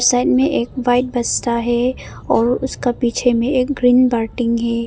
Side में एक white बसता है और उसका पीछे में एक ग्रीन बाल्टिंग है।